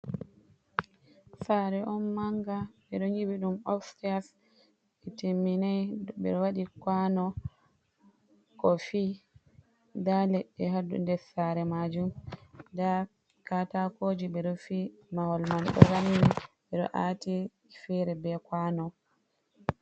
Saare on mannga ɓe ɗo nyiɓi ɗum opseyas jey timminay. Ɓe waɗi kuwano kofi ndaa leɗɗe haa nder saare maajum. Ndaa katakooji ɓe ɗo fi mahol may ɗo rammi, ɓe ɗo aati feere be kuwano.